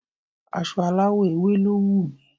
Aso aláwọ̀ ewe lo wu mi